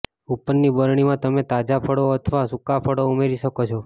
ઉપરની બરણીમાં તમે તાજા ફળો અથવા સુકા ફળો ઉમેરી શકો છો